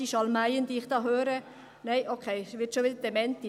Die Schalmeien, die ich da höre … Nein, okay, es wird schon wieder dementiert …